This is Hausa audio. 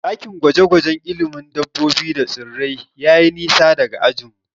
Ɗakin gwaje-gwajen ilimin dabbobi da tsirrai yayi nisa daga ajinmu.